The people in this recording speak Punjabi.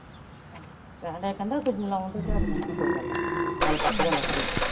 ਕਹਿੰਦੇ ਕਹਿੰਦਾ ਲੋਨ ਦੇ ਦਿਹਾੜਿਆਂ ਹਨ ਨੂੰ ਕੋਇ ਗੱਲ ਨਿ ਨਾਲੇ ਪੱਕ ਜਾਂਦਾ ਸ਼ਰੀਰ।